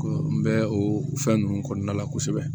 N bɛ o fɛn ninnu kɔnɔna la kosɛbɛ